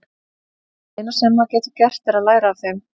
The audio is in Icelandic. Það eina sem maður getur gert er að læra af þeim.